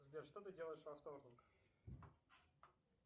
сбер что ты делаешь во вторник